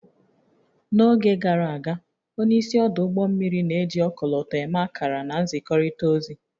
N'oge gara aga, onye isi ọdụ ụgbọ mmiri na-eji ọkọlọtọ eme akara na nzikọrịta ozi